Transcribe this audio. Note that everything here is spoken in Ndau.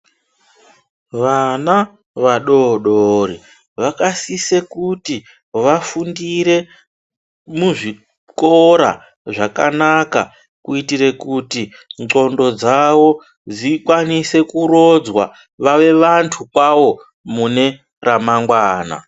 Vana va dodori vaka sise kuti vafundire muzvi kora zvakanaka kuitire kuti ndxondo dzavo dzikwanise kurodzwa vave vantu kwavo mune ra mangwana.